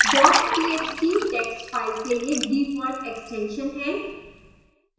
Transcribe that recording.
txt text file के लिए default extension है